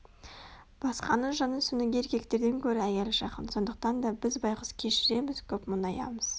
басқаның жанын түсінуге еркектерден гөрі әйел жақын сондықтан да біз байғұс көп кешіреміз көп мұңаямыз